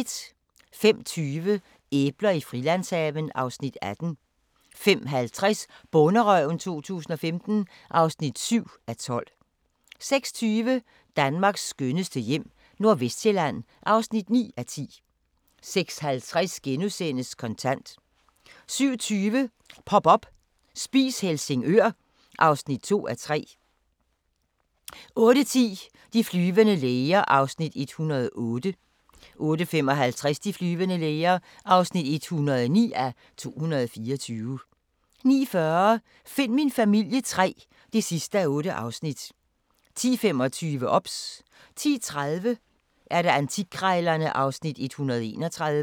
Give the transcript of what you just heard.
05:20: Æbler i Frilandshaven (Afs. 18) 05:50: Bonderøven 2015 (7:12) 06:20: Danmarks skønneste hjem - Nordvestsjælland (9:10) 06:50: Kontant * 07:20: Pop up – Spis Helsingør (2:3) 08:10: De flyvende læger (108:224) 08:55: De flyvende læger (109:224) 09:40: Find min familie III (8:8) 10:25: OBS 10:30: Antikkrejlerne (Afs. 131)